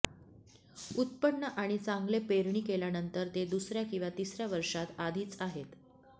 उत्पन्न आणि चांगले पेरणी केल्यानंतर ते दुसऱ्या किंवा तिसऱ्या वर्षांत आधीच आहेत